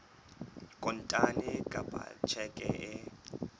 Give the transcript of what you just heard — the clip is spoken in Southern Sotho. kontane kapa ka tjheke e